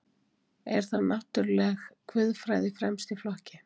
Er þar náttúruleg guðfræði fremst í flokki.